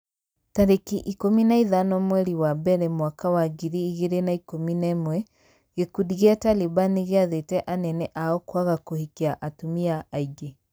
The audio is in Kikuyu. tarĩki ikũmi na ithano mweri wa mbere mwaka wa ngiri igĩrĩ na ikũmi na ĩmwe gĩkundi gĩa Taliban nĩgĩathĩte anene ao kwaga kũhikia atumia aingĩ.